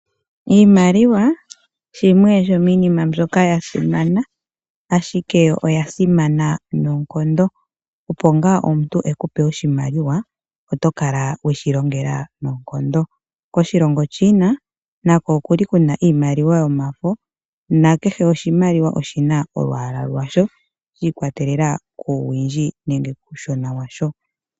Iimaliwa shimwe shomiinima mbyoka yasimana ashike oya simana noonkondo, opo ngaa omuntu ekupe oshimaliwa oto kala weshi longela noonkondo. Koshilongo China nako oku li kuna iimaliwa yomafo, nakehe oshimaliwa oshina olwaala lwasho shiikwatelela kuuwindji nenge kuushona washo.